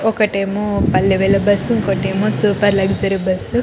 ఒకటేమో పల్లె వెలుగు బస్సు ఇంకోటేమో super luxury bus .